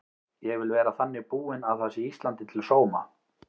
Ég vil vera þannig búin að það sé Íslandi til sóma.